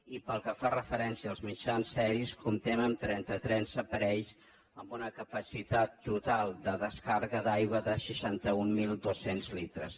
i pel que fa referència als mitjans aeris comp·tem amb trenta·tres aparells amb una capacitat total de descàrrega d’aigua de seixanta mil dos cents litres